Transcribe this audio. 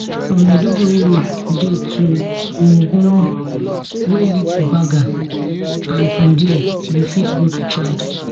from maiduguri road dey to mungunu wey lead to baga and from dia you fit go to chad